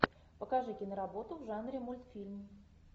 покажи киноработу в жанре мультфильм